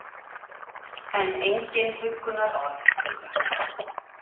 En engin huggunarorð duga.